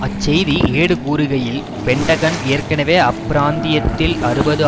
அச்செய்தி ஏடு கூறுகையில் பென்டகன் ஏற்கனவே அப்பிராந்தியத்தில் அறுபது